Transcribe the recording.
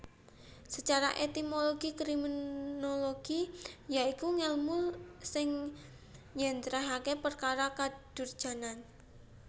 Sacara etimologi kriminologi ya iku ngèlmu sing njléntrèhaké perkara kadurjanan